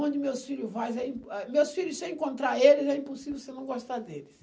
Onde meus filho vai, eh, ãh, meus filhos, se você encontrar eles, é impossível você não gostar deles.